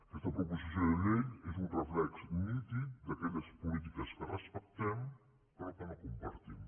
aquesta proposició de llei és un reflex nítid d’aquelles polítiques que respectem però que no compartim